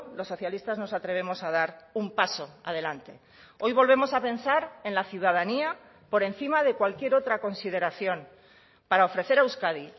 los socialistas nos atrevemos a dar un paso adelante hoy volvemos a pensar en la ciudadanía por encima de cualquier otra consideración para ofrecer a euskadi